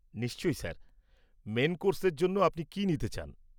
নিশ্চই sir. Main কোর্সের জন্য আপনি কি নিতে চান?